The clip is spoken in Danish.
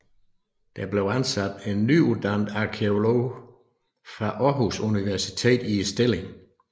Der blev ansat en nyuddannet arkæolog fra Aarhus Universitet i stillingen